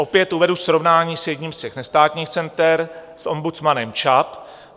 Opět uvedu srovnání s jedním z těch nestátních center s ombudsmanem ČAP.